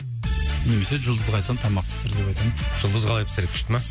немесе жұлдызға айтамын тамақ пісір деп айтамын жұлдыз қалай пісіреді күшті ма